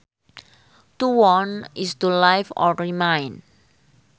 To won is to live or remain